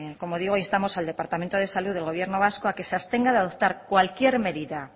como digo instamos al departamento de salud del gobierno vasco a que se abstenga de adoptar cualquier medida